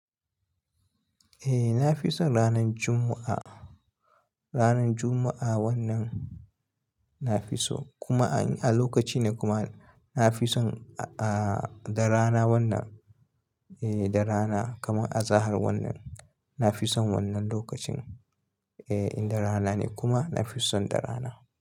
Eh na fi son ranan Juma'a. Ranan Juma'a wannan na fi so kuma a lokaci ne kuma na fi son ah darana wanda. Eh darana kamar azahar wannan na fi son wannan lokacin. Eh in darana ne kuma na fi son darana.